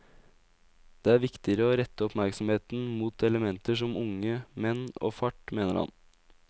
Det er viktigere å rette oppmerksomheten mot elementer som unge menn og fart, mener han.